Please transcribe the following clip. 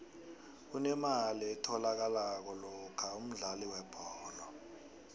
kunemali etholakalako lokha umdlali webholo